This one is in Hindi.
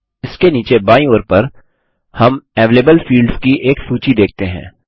इसके नीचे बायीं ओर पर हम अवेलेबल फील्ड्स की एक सूची देखते हैं